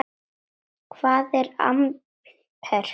Hvað er amper?